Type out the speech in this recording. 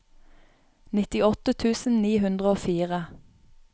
nittiåtte tusen ni hundre og fire